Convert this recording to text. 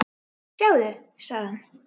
Sjáðu, sagði hann.